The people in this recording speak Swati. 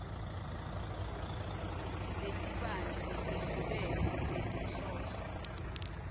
letibanti letehlukene tetinhloso